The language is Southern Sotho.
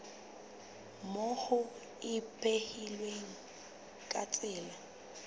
moo ho ipehilweng ka tsela